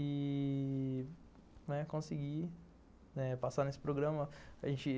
e... conseguir passar nesse programa. A gente